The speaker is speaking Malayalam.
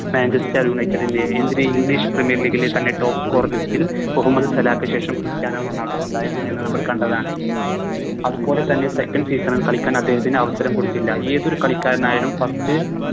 Manchester united ൻറെ എന്തിന് English premier league ലെ തന്നെ Top score list ൽ മുഹമ്മദ് സലാഹ് ക്ക് ശേഷം ക്രിസ്റ്റ്യാനോ റൊണാൾഡോ ഉണ്ടായിരുന്നു എന്ന് നമ്മള് കണ്ടതാണ് അതുപോലെ തന്നെ Second season ൽ കളിക്കാൻ അദ്ദേഹത്തിന് അവസരം കൊടുത്തില്ല ഏതൊരു കളിക്കാരനായാലും First